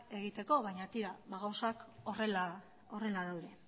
egiteko baina tira gauzak horrela daude